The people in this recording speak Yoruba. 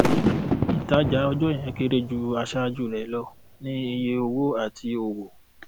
ìtajà ọjọ yẹn kéré ju àṣáájú rẹ lọ ní iye owó àti òwò